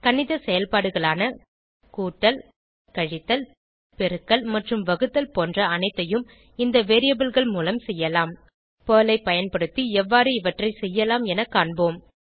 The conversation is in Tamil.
கணித செயல்பாடுகளான கூட்டல் கழித்தல் பெருக்கல் மற்றும் வகுத்தல் போன்ற அனைத்தையும் இந்த variableகள் மூலம் செய்யலாம் பெர்ல் ஐ பயன்படுத்தி எவ்வாறு இவற்றை செய்யலாம் என காண்போம்